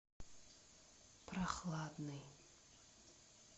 прохладный